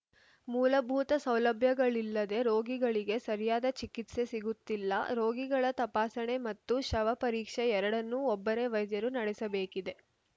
ಮೂಲಭೂತ ಸೌಲಭ್ಯಗಳಿಲ್ಲದೆ ರೋಗಿಗಳಿಗೆ ಸರಿಯಾದ ಚಿಕಿತ್ಸೆ ಸಿಗುತ್ತಿಲ್ಲ ರೋಗಿಗಳ ತಪಾಸಣೆ ಮತ್ತು ಶವ ಪರೀಕ್ಷೆ ಎರಡನ್ನೂ ಒಬ್ಬರೇ ವೈದ್ಯರು ನಡೆಸಬೇಕಿದೆ